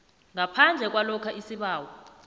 ngaphandle kwalokha isibawo